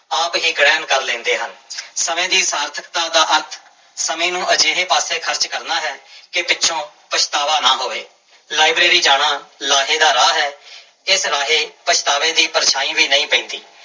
ਆਪ ਹੀ ਗ੍ਰਹਿਣ ਕਰ ਲੈਂਦੇ ਹਨ ਸਮੇਂ ਦੀ ਸਾਰਥਕਤਾ ਦਾ ਅਰਥ ਸਮੇਂ ਨੂੰ ਅਜਿਹੇ ਪਾਸੇ ਖ਼ਰਚ ਕਰਨਾ ਹੈ ਕਿ ਪਿੱਛੋਂ ਪਛਤਾਵਾ ਨਾ ਹੋਵੇ ਲਾਇਬ੍ਰੇਰੀ ਜਾਣਾ ਲਾਹੇ ਦਾ ਰਾਹ ਹੈ ਇਸ ਰਾਹੇ ਪਛਤਾਵੇ ਦੀ ਪਰਛਾਂਈ ਵੀ ਨਹੀਂ ਪੈਂਦੀ।